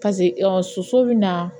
soso bɛ na